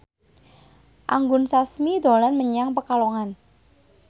Anggun Sasmi dolan menyang Pekalongan